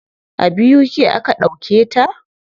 A BUK aka ɗauke ta.